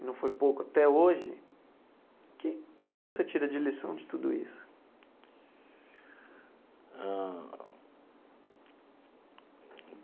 e não foi pouco até hoje, o que que que você tira de lição de tudo isso? Ãh.